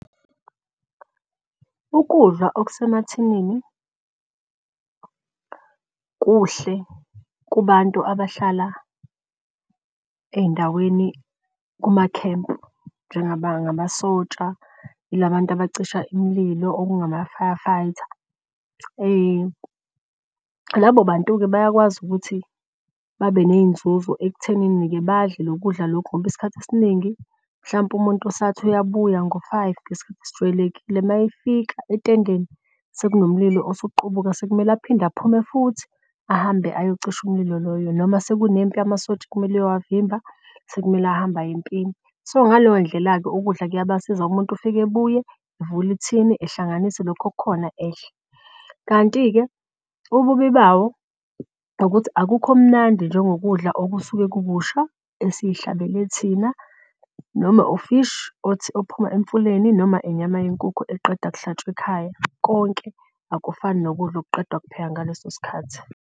Ukudla okusemathinini kuhle kubantu abahlala ey'ndaweni kumakhempu njenga masotsha, yilabantu abacisha imililo okungama-firefighter. Labo bantu-ke bayakwazi ukuthi babe ney'nzuzo ekuthenini-ke badle loku kudla lokhu. Ngoba isikhathi esiningi mhlampe umuntu usathi uyabuya ngo-five ngesikhathi esijwayelekile. Mayefika entendeni sekunomlilo osuqubuka sekumele aphinde aphume futhi ahambe ayocisha umlilo loyo. Noma sekunsempi amasotsha kumele eyowavimba sekumele ahambe aye empini. So ngaleyo ndlela-ke ukudla kuyabasiza ngoba umuntu ufike ebuye evule ithini ehlanganise lokhu okukhona edle. Kanti-ke ububi bawo ukuthi akukho mnandi njengo kudla okusuke kukusha esiy'hlabele thina noma ufishi ophuma emfuleni noma inyama yenkukhu eqeda kuhlatshwa ekhaya. Konke akufani nokudla okuqedwa kuphekwa ngaleso sikhathi.